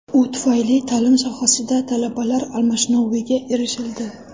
U tufayli ta’lim sohasida talabalar almashinuviga erishildi.